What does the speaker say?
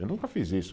Eu nunca fiz isso.